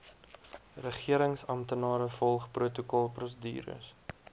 regeringsamptenare volg protokolprosedures